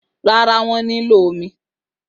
Rárá, wọ́n nílò omi.